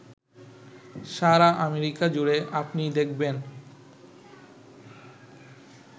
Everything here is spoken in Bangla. সারা আমেরিকা জুড়ে আপনি দেখবেন